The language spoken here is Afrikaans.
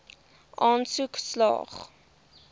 aansoek slaag